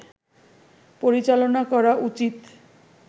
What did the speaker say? পরিচালনা করা উচিত